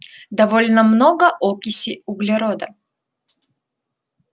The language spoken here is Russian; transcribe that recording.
довольно много окиси углерода